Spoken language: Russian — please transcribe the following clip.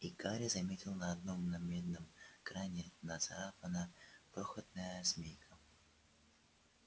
и гарри заметил на одном медном кране нацарапана крохотная змейка